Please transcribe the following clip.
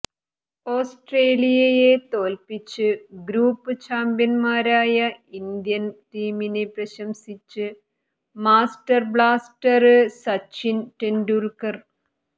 ഓസ്ട്രേലിയയെ തോല്പിച്ച് ഗ്രൂപ്പ് ചാമ്പ്യന്മാരായ ഇന്ത്യന് ടീമിനെ പ്രശംസിച്ച് മാസ്റ്റര് ബ്ലാസ്റ്റര് സച്ചിന് ടെന്ഡുല്ക്കര്